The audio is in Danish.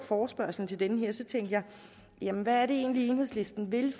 forespørgslen tænkte jeg jamen hvad er det egentlig enhedslisten vil